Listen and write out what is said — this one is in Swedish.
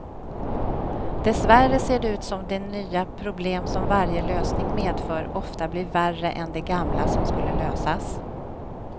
Dessvärre ser det ut som de nya problem som varje lösning medför ofta blir värre än de gamla som skulle lösas.